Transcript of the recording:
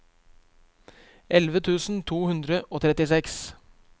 elleve tusen to hundre og trettiseks